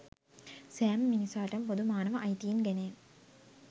සෑම මිනිසාටම පොදු මානව අයිතීන් ගැනය